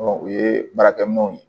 o ye baarakɛminɛnw ye